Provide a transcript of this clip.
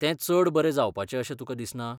तें चड बरें जावपाचें अशें तुका दिसना?